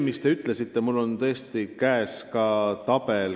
Mul on käes sellekohane tabel.